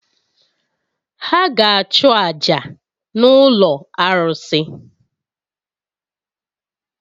Ha ga-achụ àjà n’ụlọ arụsị